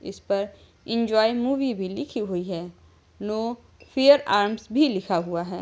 इस पर enjoy movie भी लिखी हुई है । नो फियर आर्म्स भी लिखा हुआ है ।